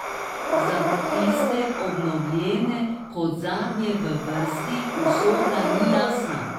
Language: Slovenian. Za tiste, obnovljene kot zadnje v vrsti, usoda ni jasna.